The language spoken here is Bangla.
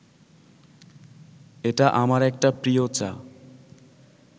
এটা আমার একটা প্রিয় চা